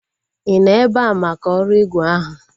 I nọ ebea maka ọrụ ígwè ahụ?